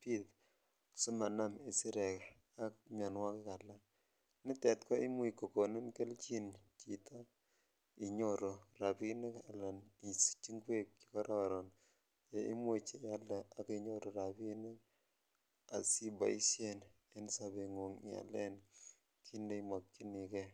bit simanam isirek ak mionwokik alak, nitet ko imuch kokonin kelchin chito inyoru rabinik alan isich ingwek chekororon cheimuch ialde ak inyoru rabinik asiboishen en sobengung ialen kiit neimokyinike.